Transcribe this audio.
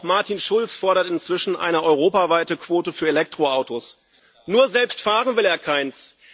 Auch Martin Schulz fordert inzwischen eine europaweite Quote für Elektroautos. Nur selbst fahren will er keines.